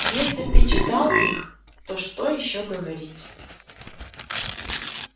если ты читал их то что ещё говорить